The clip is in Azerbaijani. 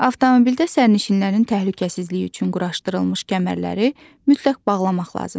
Avtomobildə sərnişinlərin təhlükəsizliyi üçün quraşdırılmış kəmərləri mütləq bağlamaq lazımdır.